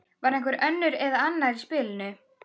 Var einhver önnur eða annar í spilinu?